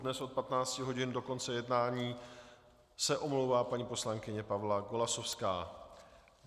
Dnes od 15 hodin do konce jednání se omlouvá paní poslankyně Pavla Golasowská.